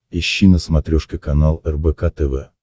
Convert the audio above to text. ищи на смотрешке канал рбк тв